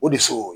O de so